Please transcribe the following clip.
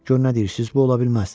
Gör nə deyirsiz, bu ola bilməz.